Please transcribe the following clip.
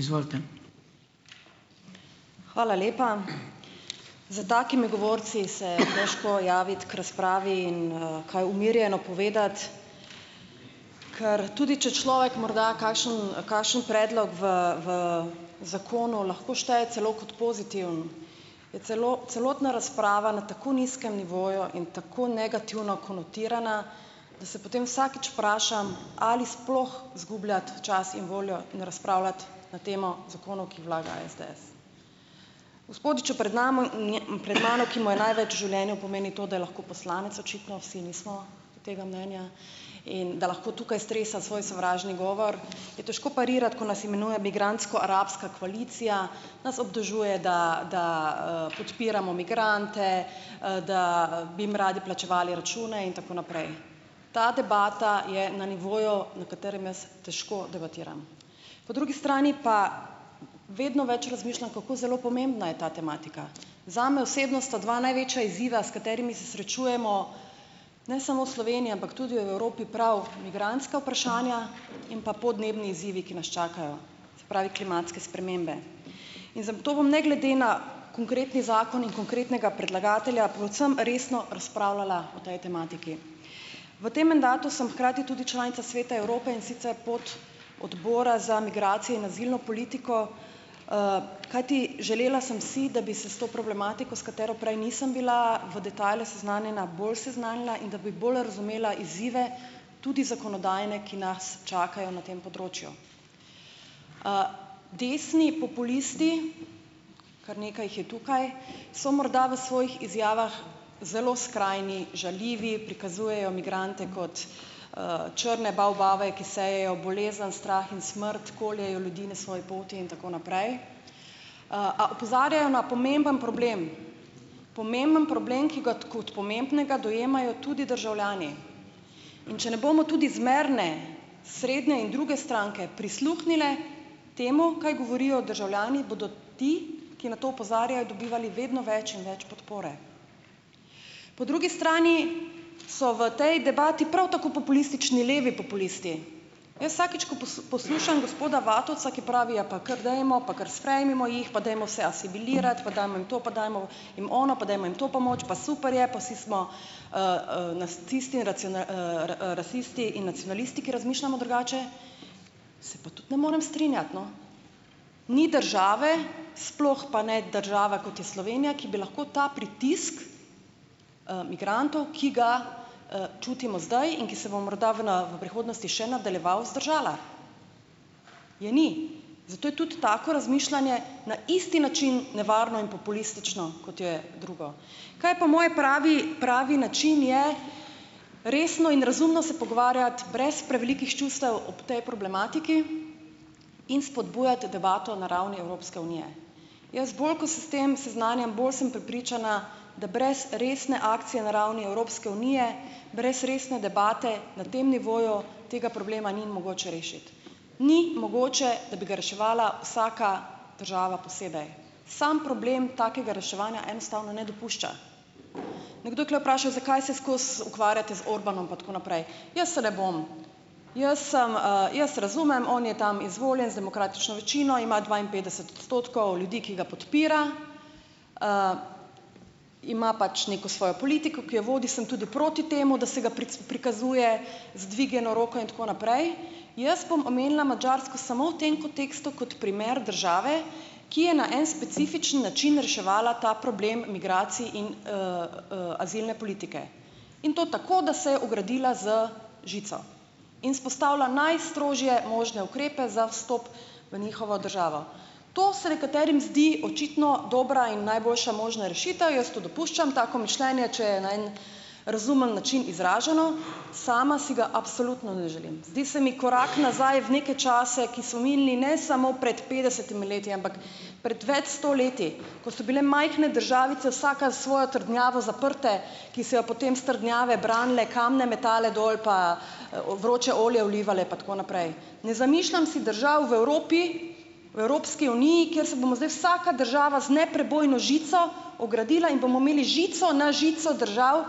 Izvolite. Hvala lepa, za takimi govorci se težko javiti k razpravi in kaj umirjeno povedati, ker tudi če človek morda kakšen kakšen predlog v v zakonu lahko šteje celo kot pozitiven, je celotna razprava na tako nizkem nivoju in tako negativno konotirana, da se potem vsakič vprašam, ali sploh zgubljati čas in voljo, ne, razpravljati na temo zakonov, ki vlaga SDS, gospodiču pred in je pred mano, ki mu je največ v življenju pomeni to, da je lahko poslanec, očitno vsi nismo tega mnenja, in da lahko tukaj stresa svoj sovražni govor, je težko parirati, ko nas imenuje migrantsko-arabska koalicija, nas obtožuje, da da podpiramo migrante, da bi jim radi plačevali račune in tako naprej, ta debata je na nivoju, na katerem jaz težko debatiram, po drugi strani pa vedno več razmišljam, kako zelo pomembna je ta tematika, zame osebno sta dva največja izziva, s katerimi se srečujemo ne samo v Sloveniji, ampak tudi v Evropi, prav migrantska vprašanja in pa podnebni izzivi, ki nas čakajo, se pravi klimatske spremembe, in zagotovo ne glede na konkretni zakon in konkretnega predlagatelja predvsem resno razpravljala o tej tematiki. V tem mandatu sem hkrati tudi članica Sveta Evrope, in sicer pod odbora za migracije in azilno politiko, kajti želela sem si, da bi se s to problematiko, s katero prej nisem bila v detajlu seznanjena, bolj seznanila in da bi bolj razumela izzive, tudi zakonodajne, ki nas čakajo na tem področju. Desni populisti, kar nekaj jih je tukaj, so morda v svojih izjavah zelo skrajni, žaljivi, prikazujejo migrante kot črne bavbave, ki sejejo bolezen, strah in smrt, koljejo ljudi na svoji poti in tako naprej, a opozarjajo na pomemben problem, pomemben problem, ki ga kot pomembnega dojemajo tudi državljani, in če ne bomo tudi zmerne, srednje in druge stranke prisluhnile temu, kaj govorijo državljani, bodo ti, ki na to opozarjajo, dobivali vedno več in več podpore, po drugi strani so v tej debati prav tako populistični levi populisti, jaz vsakič, ko poslušam gospoda Vatovca, ki pravi: "Ja pa kar dajmo, pa kar sprejmimo jih, pa dajmo vse asimilirati, pa dajmo jim to, pa dajmo jim ono, pa dajmo jim to pomoč, pa super je, pa si smo nacisti, rasisti in nacionalisti, ki razmišljamo drugače." Se pa tudi ne morem strinjati, no, ni države, sploh pa ne država, kot je Slovenija, ki bi lahko ta pritisk migrantov, ki ga čutimo zdaj in ki se bomo morda v na v prihodnosti še nadaljeval, vzdržala. Je ni, zato je tudi tako razmišljanje na isti način nevarno in populistično, kot je drugo, kaj pa moj pravi, pravi način je, resno in razumno se pogovarjati brez prevelikih čustev ob tej problematiki in spodbujati debato na ravni Evropske unije, jaz bolj, ko se s tem seznanjam, bolj sem prepričana, da brez resne akcije na ravni Evropske unije, brez resne debate na tem nivoju tega problema ni mogoče rešiti, ni mogoče, da bi ga reševala vsaka država posebej, sam problem takega reševanja enostavno ne dopušča, nekdo je tule vprašal, zakaj se skozi ukvarjate z Orbanom pa tako naprej, jaz se ne bom, jaz sem, jaz razumem, on je tam izvoljen z demokratično večino, ima dvainpetdeset odstotkov ljudi, ki ga podpira, ima pač neko svojo politiko, ki jo vodi, sem tudi proti temu, da se ga prikazuje z dvignjeno roko in tako naprej, jaz bom omenila Madžarsko samo v tem kontekstu kot primer države, ki je na en specifičen način reševala ta problem migracij in azilne politike in to tako, da se je ogradila z žico in vzpostavila najstrožje možne ukrepe za vstop v njihovo državo, to se nekaterim zdi očitno dobra in najboljša možna rešitev, jaz to dopuščam, tako mišljenje, če je na en razumen način izraženo, sama si ga absolutno ne želim, zdi se mi korak nazaj v neke čase, ki so minili ne samo pred petdesetimi leti, ampak pred več sto leti, ko so bile majhne državice vsaka s svojo trdnjavo zaprte, ki se je potem s trdnjave branile, kamne metale dol pa vroče olje vlivale pa tako naprej, ne zamišljam si držav v Evropi, v Evropski uniji, ker se bomo zdaj vsaka država z neprebojno žico ogradila in bomo imeli žico na žico držav,